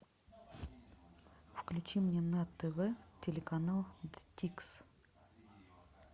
включи мне на тв телеканал дикс